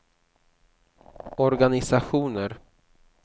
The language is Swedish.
organisationer